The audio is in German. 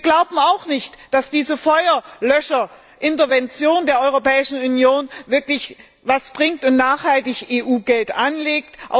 Wir glauben auch nicht, dass diese Feuerlöscherintervention der Europäischen Union wirklich etwas bringt und EU Geld nachhaltig anlegt.